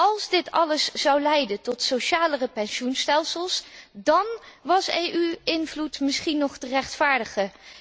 Als dit alles zou leiden tot socialere pensioenstelsels, dan was EU invloed misschien nog te rechtvaardigen.